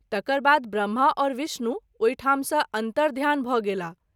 तकर बाद ब्रम्हा और विष्णु ओहि ठाम सँ अन्तर्धान भ’ गेलाह।